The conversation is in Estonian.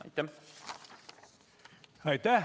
Aitäh!